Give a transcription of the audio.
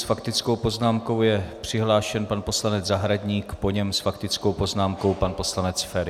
S faktickou poznámkou je přihlášen pan poslanec Zahradník, po něm s faktickou poznámkou pan poslanec Feri.